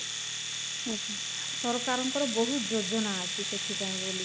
ସରକାର ଙ୍କର ବହୁତ ଯୋଜନା ଅଛି ସେଥିପାଇଁ ବୋଲି